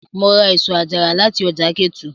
Mo ra èso àjàrà láti ọjà Ketu.